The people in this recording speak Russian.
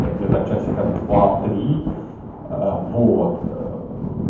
а где-то в часика два три а вот ээ